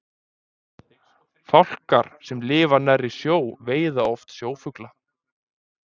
Fálkar sem lifa nærri sjó veiða oft sjófugla.